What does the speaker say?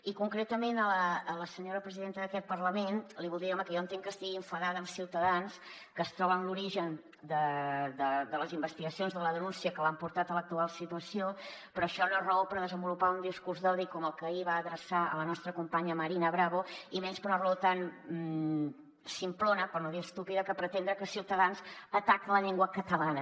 i concretament a la senyora presidenta d’aquest parlament li vull dir home que jo entenc que estigui enfadada amb ciutadans que es troba en l’origen de les investigacions de la denúncia que l’han portat a l’actual situació però això no és raó per desenvolupar un discurs d’odi com el que ahir va adreçar a la nostra companya marina bravo i menys per una raó tan simplona per no dir estúpida de pretendre que ciutadans ataca la llengua catalana